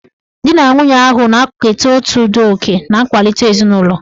Di na nwunye ahụ na-eketa otu ụdị oke na nkwalite ezinụlọ